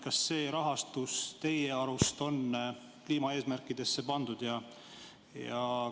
Kas see rahastus teie arust on kliimaeesmärkidesse pandud?